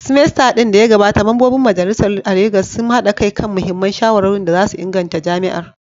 semester din da ya gabata, Mambobin Majalisar a Legas sun haɗa kai kan muhimman shawarwarin da za su inganta jami’ar.